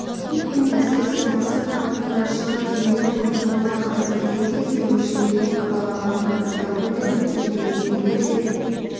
иттің әсіресе мақсат камбуздан шығып кеменің тұмсығына қарай жүрген кезде өршелене абалағанын капитан гуль де тіптен кемедегілер де